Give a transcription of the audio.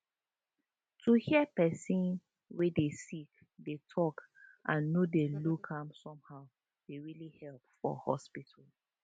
to hear person wey dey sick dey talk and no dey look am somehow dey really help for hospital